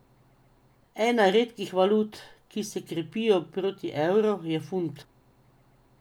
Ena redkih valut, ki se krepijo proti evru, je funt.